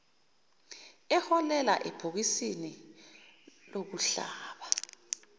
eholela ebhokisini lokuhlaba